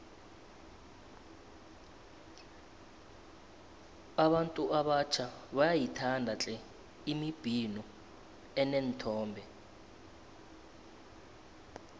abantu abatjha bayayithanda tle imibhino eneenthombe